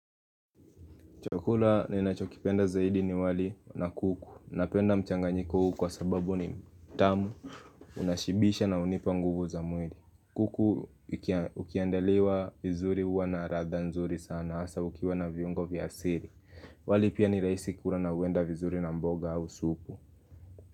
Chakula ninachokipenda zaidi ni wali na kuku. Napenda mchanganyiko huu kwa sababu ni mtamu. Unashibisha na unipa nguvu za mwili. Kuku ikiandaliwa vizuri huwa na radha nzuri sana. Hasa ukiwa na viungo vya asili. Wali pia ni rahisi kura na huenda vizuri na mboga au supu.